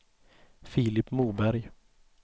Filip Moberg